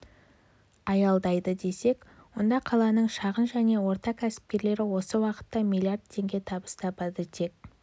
аялдайды десек онда қаланың шағын және орта кәсіпкерлері осы уақытта миллиард теңге табыс табады тек